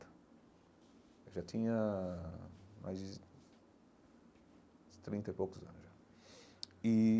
Eu já tinha mais de de trinta e poucos anos já e.